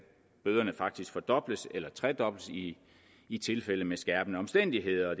bøderne faktisk fordobles eller tredobles i i tilfælde med skærpende omstændigheder